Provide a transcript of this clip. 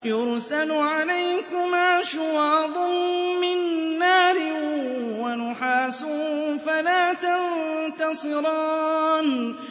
يُرْسَلُ عَلَيْكُمَا شُوَاظٌ مِّن نَّارٍ وَنُحَاسٌ فَلَا تَنتَصِرَانِ